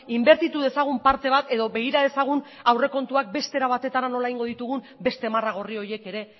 inbertitu dezagun parte bat edo begira dezagun aurrekontuak beste era batetara nola egingo ditugun beste marra gorri horiek ere